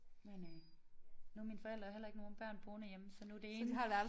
Men øh nu har mine forældre jo heller ikke nogen børn boende hjemme så nu det ene